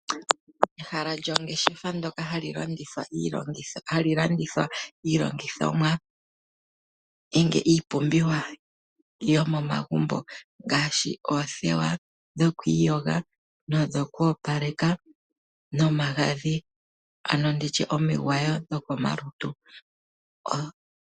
Ehala lyongeshefa ndoka hali landitha iilongithomwa nenge iipumbiwa yo momagumbo ngaashi oothewa dhokwiiyoga nodho koopaleka nomagadhi ando nditye omigwawo dhoko malutu.